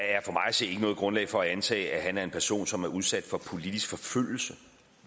se ikke noget grundlag for at antage at han er en person som er udsat for politisk forfølgelse